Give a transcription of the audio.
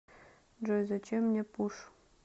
джой зачем мне пуш